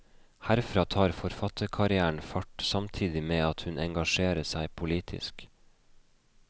Herfra tar forfatterkarrieren fart, samtidig med at hun engasjerer seg politisk.